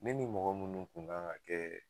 Ne ni mɔgɔ munnu kun gan ka kɛ